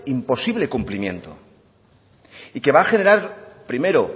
imposible cumplimiento y que va a generar primero